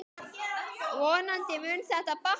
Vonandi mun þetta batna.